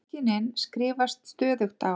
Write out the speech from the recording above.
Feðginin skrifast stöðugt á.